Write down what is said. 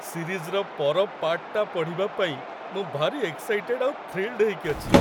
ସିରିଜ୍‌ର ପର ପାର୍ଟ୍‌ଟା ପଢ଼ିବା ପାଇଁ ମୁଁ ଭାରି ଏକ୍ସାଇଟେଡ୍ ଆଉ ଥ୍ରୀଲ୍‌ଡ୍‌ ହେଇକି ଅଛି!